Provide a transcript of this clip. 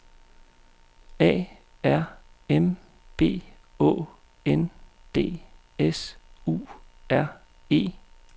A R M B Å N D S U R E